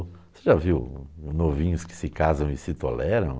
Você já viu novinhos que se casam e se toleram?